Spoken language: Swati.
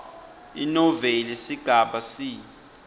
inoveli sigaba c